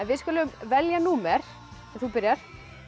þið skulið velja númer ef þú byrjar